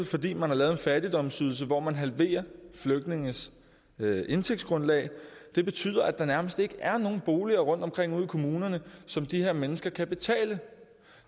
fordi man har lavet en fattigdomsydelse hvor man halverer flygtningenes indtægtsgrundlag det betyder at der nærmest ikke er nogen boliger rundtomkring ude i kommunerne som de her mennesker kan betale